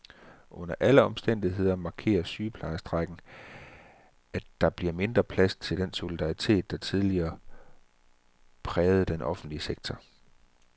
Under alle omstændigheder markerer sygeplejerskestrejken, at der bliver mindre plads til den solidaritet, der tidligere prægede den offentlige sektor.